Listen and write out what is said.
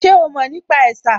Ṣe o mọ̀ nípa ẹ̀sà?